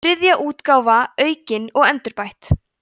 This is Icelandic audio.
þriðja útgáfa aukin og endurbætt